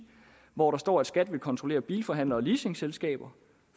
hvor der står at skat vil kontrollere bilforhandlere og leasingselskaber